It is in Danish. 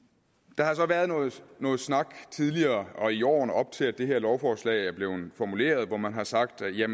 der har så været noget snak tidligere og i årene op til at det her lovforslag er blevet formuleret hvor man har sagt at